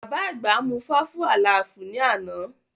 Bàbá àgbà mú fáfú àlaàfù ní àná